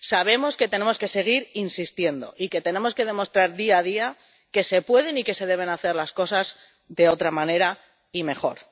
Sabemos que tenemos que seguir insistiendo y que tenemos que demostrar, día a día, que se pueden y que se deben hacer las cosas de otra manera y mejor.